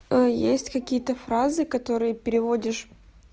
а есть какие-то фразы которые переводишь